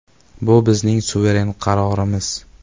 Bu bizning suveren qarorimiz.